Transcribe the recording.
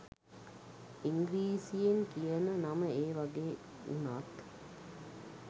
ඉංග්‍රීසියෙන් කියන නම ඒ වගේ වුණත්